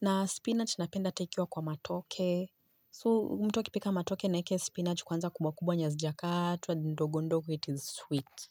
Na spinach napenda hata ikiwa kwa matoke. So mtu akipika matoke naweke spinach kwanza kubwakubwa hazijakatwa ndogondogo it is sweet.